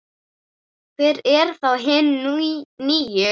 Hver eru þá hin níu?